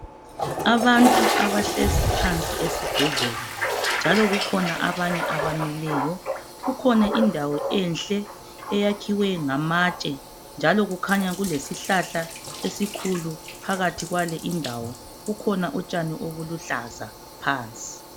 Abantu abahlezi phansi esibhedlela Njalo kukhona abanye abamileyo .Kukhona indawo enhle eyakhiwe ngamatshe .Njalo kukhanya kulesihlahla esikhulu phakathi kwale indawo .Kukhona utshani obuluhlaza phansi .